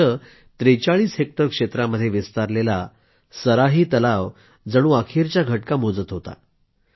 इथं 43 हेक्टर क्षेत्रामध्ये विस्तारलेला सराही तलाव जणू अखेरच्या घटका मोजत होता